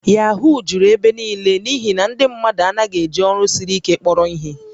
Yahoo juru ebe niile n'ihi na ndị mmadụ anaghị eji ọrụ siri ike kpọrọ ihe